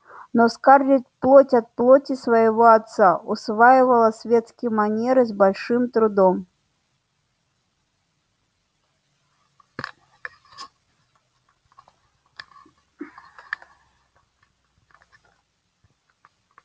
но скарлетт плоть от плоти своего отца усваивала светские манеры с большим трудом